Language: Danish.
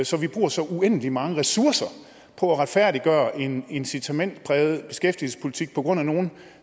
så vi bruger så uendelig mange ressourcer på at retfærdiggøre en incitamentspræget beskæftigelsespolitik på grund af nogle